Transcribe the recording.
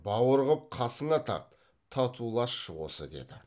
бауыр қып қасыңа тарт татуласшы осы деді